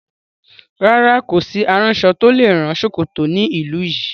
Rárá, kò sí aránṣọ tó lè rán ṣòkòtò ní ìlú yìí.